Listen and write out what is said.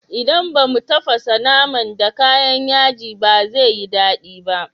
Idan ba mu tafasa naman da kayan yaji ba zai yi daɗi ba.